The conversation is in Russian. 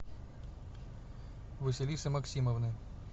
василисы максимовны